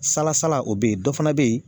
Salasala o be yen dɔ fana be yen